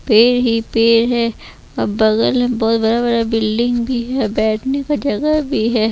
Paid ही पेड़ है अब बगल में बहोत बडा बिल्डिंग भी है बैठने का जगह भी है।